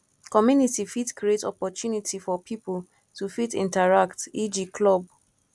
community fit create opportunity for pipo to fit interact eg club